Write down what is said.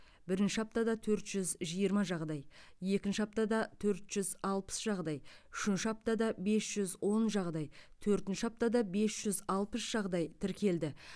бірінші аптада төрт жүз жиырма жағдай екінші аптада төрт жүз алпыс жағдай үшінші аптада бес жүз он жағдай төртінші аптада бес жүз алпыс жағдай тіркелді